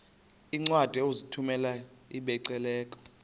iincwadi ozithumela ebiblecor